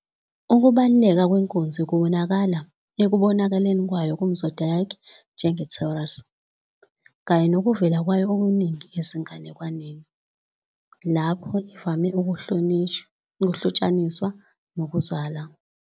Ukubaluleka kwenkunzi kubonakala ekubonakaleni kwayo kumzodiac njengeTaurus, kanye nokuvela kwayo okuningi ezinganekwaneni, lapho kuvame ukuhlotshaniswa nokuzala.